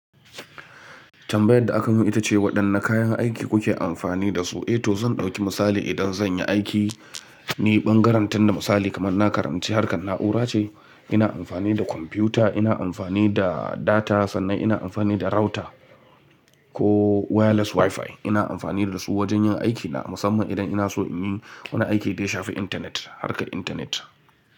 Tambayar da aka yi min ita ce waɗanne kayan aiki kuke amfani da su? Eh to zan ɗauki misali idan zan yi aiki, ni ɓangaren tinda misali kamar na karanci harkar na'ura ce, ina amfani da kwamfuta, ina amfani da data sannan ina amfani da router ko wireless WiFi. Ina amfani da su wajen yin aikina musamman idan ina so in yi wani aiki dai shafi intanet, harkar intanet.